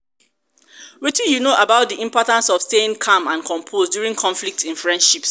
wetin you know about di importance of staying calm and composed during conflicts in friendships?